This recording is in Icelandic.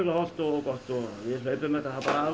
hollt og gott við hlaupum þetta bara af